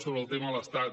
sobre el tema de l’estat